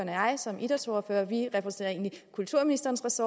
jeg som idrætsordførere og vi repræsenterer egentlig kulturministerens